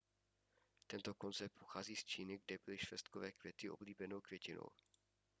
tento koncept pochází z číny kde byly švestkové květy oblíbenou květinou